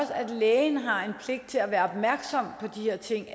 at lægen har en pligt til at være opmærksom på de her ting